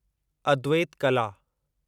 अद्वैत कला